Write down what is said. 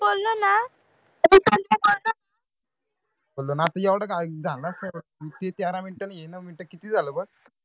पण दोनात एवढं घाई झालं असत बघ ते तेरा मिनिटं आणि हे नऊ मिनिटं किती झालं बघ